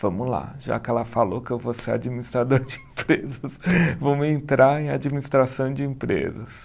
Vamos lá, já que ela falou que eu vou ser administrador de empresas, vamos entrar em administração de empresas.